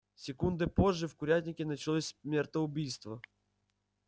секундой позже в курятнике началось смертоубийство